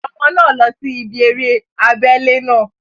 Ọmọ náà lọ sí ibí eré abẹ́lé náà